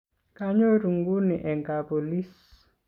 kanyoru nguni eng' kapolis